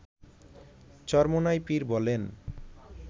চরমোনাই পীর বলেন